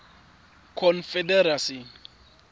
confederacy